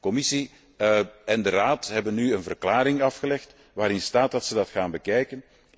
Commissie en Raad hebben nu een verklaring afgelegd waarin staat dat ze dat gaan bekijken.